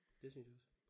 Det synes jeg også